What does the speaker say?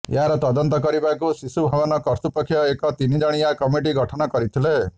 ଏହାର ତଦନ୍ତ କରିବାକୁ ଶିଶୁଭବନ କର୍ତ୍ତୃପକ୍ଷ ଏକ ତିନି ଜଣିଆ କମିଟି ଗଠନ କରିଥିଲେ